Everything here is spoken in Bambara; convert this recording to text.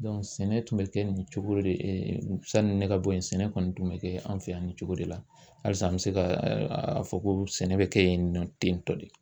Dɔn sɛnɛ tun be kɛ nin cogo de ɛ ɛ sanni ne ka bɔ yen sɛnɛ kɔni tun be kɛ an fɛ yan nin cogo de la alisa an be se ka ɛɛ aa a fɔ ko sɛnɛ be kɛ yen nɔ tentɔ de